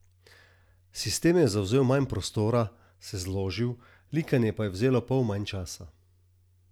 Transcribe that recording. Sistem je zavzel manj prostora, se zložil, likanje pa je vzelo pol manj časa.